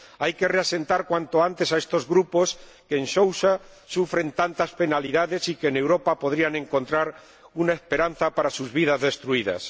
Hay que reasentar cuanto antes a estos grupos que en Sousa sufren tantas penalidades y que en Europa podrían encontrar una esperanza para sus vidas destruidas.